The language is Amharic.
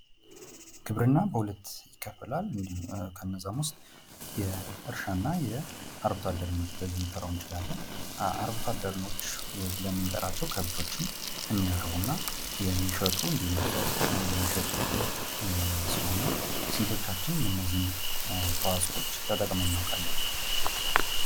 ግብርና በሁለት ይከፈላል ከነዛም ውስጥ የእርሻና አርብቶ አደርነት ብለን ልንጠራው እንችላለን አርብቶ አደሮች ብለን ምንጠራቸው ከብቶችን የሚያረቡ እና የሚሸጡ እንዲሁም አስተዋጾአቸውን የሚሸጡ ሲሆኑ ስንቶቻችን የእነዚህን ተዋጾዎች ተጠቅመን እናውቃለን።